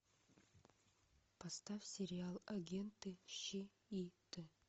поставь сериал агенты щит